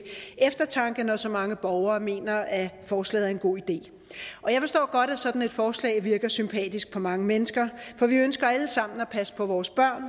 eftertanke når så mange borgere mener at forslaget er en god idé jeg forstår godt at sådan et forslag virker sympatisk på mange mennesker for vi ønsker alle sammen at passe på vores børn